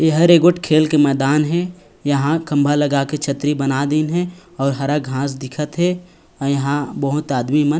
ई हरेक गोट खेल के मैदान हे यहाँ खम्भा लगा के छतरी बना दीन हे और हरा घांस दिखत हे और यहाँ बहुत आदमी मन --